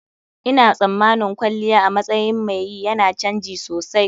Ina tsammanin kwalliya a matsayin mai yi yana canji sosai.